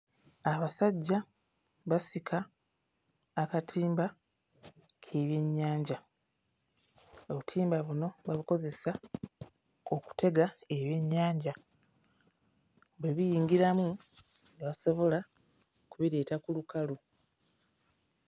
Abasajja basika akatimba k'ebyennyanja, obutimba buno babukozesa okutega ebyennyanja, bwe biyingiramu ne basobola kubireeta ku lukalu.